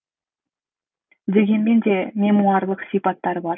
дегенмен де мемуарлық сипаттары бар